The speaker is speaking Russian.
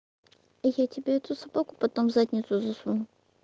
и я тебе эту собаку потом в задницу засуну